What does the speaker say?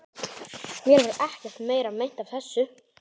Mér varð ekkert meira meint af þessu.